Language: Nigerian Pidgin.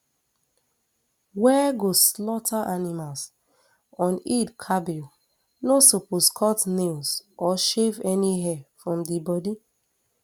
wey go slaughter animal on eid el kabir no suppose cut nails or shave any hairs from di bodi